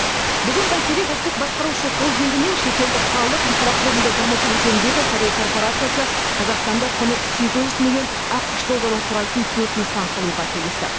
бүгін бәйтерек ұлттық басқарушы холдингі мен шетелдік қалалық инфрақұрылымды дамыту жөніндегі корей корпорациясы қазақстанда құны сегіз жүз миллион ақш долларын құрайтын төрт нысан салуға келісті